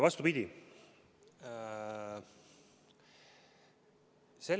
Vastupidi!